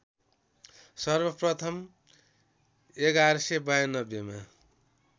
सर्वप्रथम ११९२ मा